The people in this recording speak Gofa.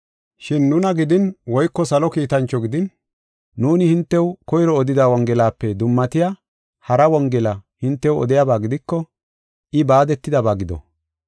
Shin nuna gidin woyko salo kiitancho gidin nuuni hintew koyro odida Wongelape dummatiya hara Wongela hintew odiyaba gidiko, I baadetidaba gido.